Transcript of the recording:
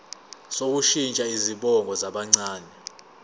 sokushintsha izibongo zabancane